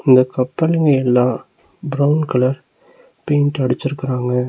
இந்த கப்பலுங்க எல்லாம் பிரவுன் கலர் பெயிண்ட் அடிச்சுருக்குறாங்க.